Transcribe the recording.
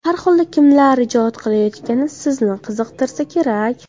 Har holda kimlar ijod qilayotgani sizni qiziqtirsa kerak?